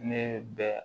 Ne bɛ